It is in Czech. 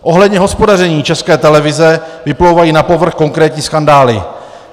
Ohledně hospodaření České televize vyplouvají na povrch konkrétní skandály.